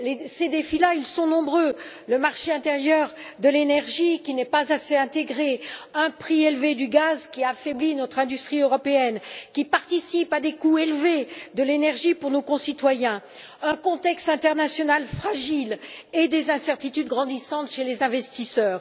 Ces défis sont nombreux le marché intérieur de l'énergie, qui n'est pas assez intégré, un prix élevé du gaz, qui affaiblit notre industrie européenne et participe à des coûts élevés de l'énergie pour nos concitoyens, un contexte international fragile et des incertitudes grandissantes chez les investisseurs.